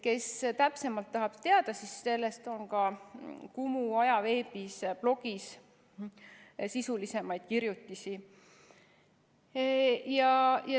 Kes täpsemalt tahab teada, siis sellest on ka Kumu ajaveebis sisulisemaid kirjutisi.